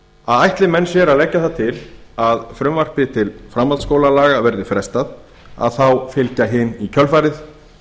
að ætli menn sér að leggja það til að frumvarpi til framhaldsskólalaga verði frestað þá fylgja hin í kjölfarið